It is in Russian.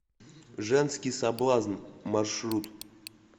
женский соблазн маршрут